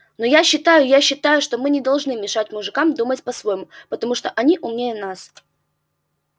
но я считаю я считаю что мы не должны мешать мужикам думать по-своему потому что они умнее нас